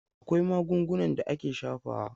Akwai magungunan da ake shafawa.